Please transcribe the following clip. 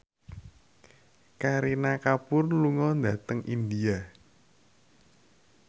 Kareena Kapoor lunga dhateng India